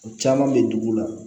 O caman bɛ dugu la